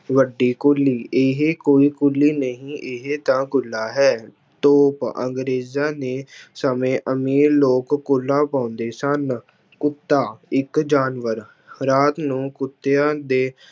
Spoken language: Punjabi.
ਵੱਡੀ ਕੁੱਲੀ ਇਹ ਕੋਈ ਕੁੱਲੀ ਨਹੀਂ ਇਹ ਤਾਂ ਕੁੱਲਾ ਹੈ, ਤੋਪ ਅੰਗਰੇਜ਼ਾਂ ਦੇ ਸਮੇਂ ਅਮੀਰ ਲੋਕ ਕੁੱਲਾ ਪਾਉਂਦੇ ਸਨ, ਕੁੱਤਾ ਇੱਕ ਜਾਨਵਰ ਰਾਤ ਨੂੰ ਕੁੱਤਿਆਂ ਦੇ